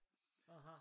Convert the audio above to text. Aha